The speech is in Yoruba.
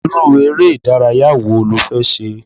Irú ere ìdárayá wo lo fẹ́ ṣe?